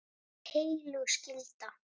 Það er heilög skylda.